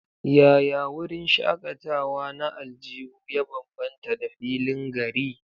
Yaya wurin shakatawa na aljihu ya bambanta da filin gari?